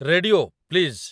radio, please